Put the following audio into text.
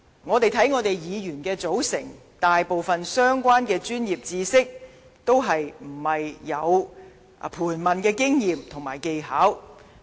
看看議員的組成，大部分相關的專業知識均沒有盤問的經驗和技巧。